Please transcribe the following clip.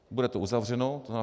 Bude to uzavřeno.